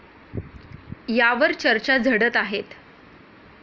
यावर चर्चा झडत आहेत.